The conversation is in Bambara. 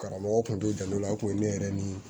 Karamɔgɔ kun t'o dɔn o kun ye ne yɛrɛ ni